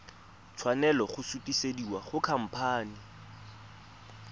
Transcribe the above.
tshwanela go sutisediwa go khamphane